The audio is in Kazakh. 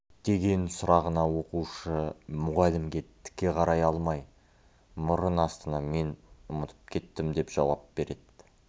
деген сұрағына оқушы мұғалімге тіке қарай алмай мұрын астынан мен ұмытып кеттім деп жауап береді